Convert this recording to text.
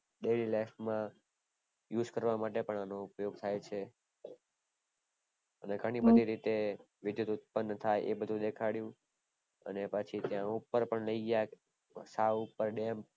dailylife માં use કરવા માટે પણ અનો ઉપયોગ થાય છે, અને ઘણી બધી રીતે વિદ્યુત ઉદ્પણ થાય એ બધું દેખાડ્યું અને પછી ત્યાં ઉપર પણ લય ગયા માથા ઉપર ડેમ